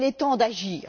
Il est temps d'agir!